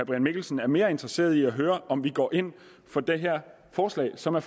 mikkelsen er mere interesseret i at høre om vi går ind for det her forslag som er